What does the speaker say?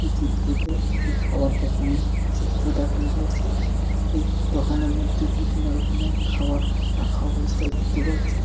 এ চিত্রটিতে একটি খাওয়ার দোকানের চিত্র দেখানো হয়েছে । এই দোকানের মধ্যে বিভিন্ন রকমের খাবার রাখা অবস্থায় দেখতে পাচ্ছি।